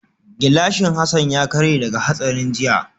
Gilashin gilashin Hassan ya karye daga hatsarin jiya